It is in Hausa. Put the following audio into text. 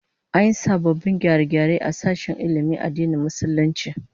An yi sababbin gyare-gyare a sashen ilmin addinin Musulunci